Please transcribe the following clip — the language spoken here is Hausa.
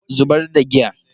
Zubar da giyan.